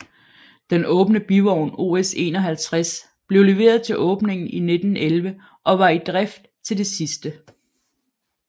Den åbne bivogn OS 51 blev leveret til åbningen i 1911 og var i drift til det sidste